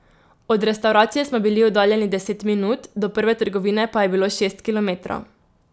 Od restavracije smo bili oddaljeni deset minut, do prve trgovine pa je bilo šest kilometrov.